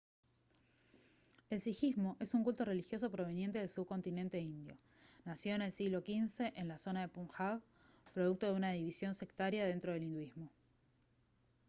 el sijismo es un culto religioso proveniente del subcontinente indio nació en el siglo xv en la zona de punjab producto de una división sectaria dentro del hinduismo